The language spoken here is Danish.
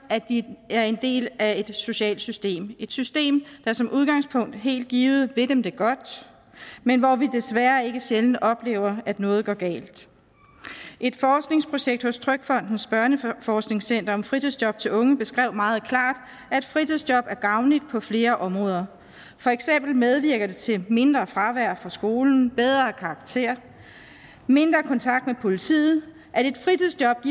at de er en del af et socialt system et system der som udgangspunkt helt givet vil dem det godt men hvor vi desværre ikke sjældent oplever at noget går galt et forskningsprojekt hos trygfondens børneforskningscenter om fritidsjob til unge beskrev meget klart at fritidsjob er gavnligt på flere områder for eksempel medvirker det til mindre fravær fra skolen bedre karakterer og mindre kontakt med politiet